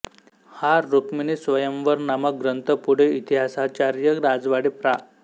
हा रुक्मिणीस्वयंवर नामक ग्रंथ पुढे इतिहासाचार्य राजवाडे प्रा